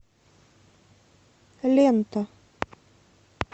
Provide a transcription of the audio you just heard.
лента